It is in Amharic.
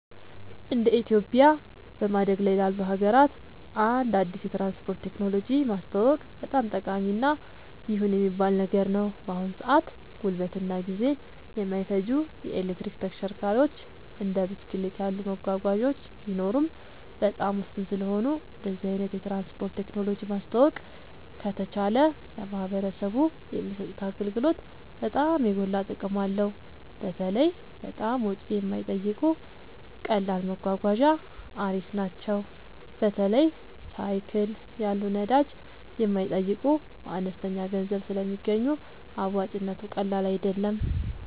እንደ ኢትዮጵያ በማደግ ላይ ላሉ ሀገራት አንድ አዲስ የትራንስፖርት ቴክኖሎጂ ማስተዋወቅ በጣም ጠቃሚ እና ይሁን የሚባል ነገር ነው። በአሁን ሰአት ጉልበትን እና ጊዜን የማይፈጁ የኤሌክትሪክ ተሽከርካሪዎች እንደ ብስክሌት ያሉ መጓጓዣዎች ቢኖሩም በጣም ውስን ስለሆኑ እንደዚህ አይነት የትራንስፖርት ቴክኖሎጂ ማስተዋወቅ ከተቻለ ለማህበረሰቡ የሚሰጡት አገልግሎት በጣም የጎላ ጥቅም አለው። በተለይ በጣም ወጪ የማይጠይቁ ቀላል መጓጓዣ አሪፍ ናቸው። በተለይ ሳይክል ያሉ ነዳጅ የማይጠይቁ በአነስተኛ ገንዘብ ስለሚገኙ አዋጭነቱ ቀላል አይደለም